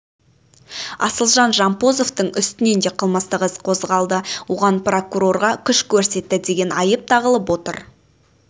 асылжан жампозовтың үстінен де қылмыстық іс қозғалды оған прокурорға күш көрсетті деген айып тағылып отыр